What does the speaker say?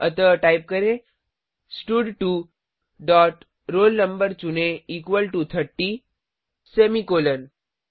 अतः टाइप करें स्टड2 डॉट roll no चुनें इक्वल टो 30 सेमीकॉलन